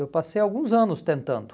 Eu passei alguns anos tentando.